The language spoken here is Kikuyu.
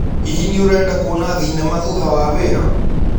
Hihi nĩũreda kũona thĩnema thũtha wa wĩra?